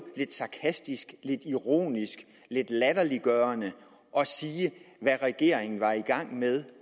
lidt sarkastisk lidt ironisk lidt latterliggørende at sige hvad regeringen var i gang med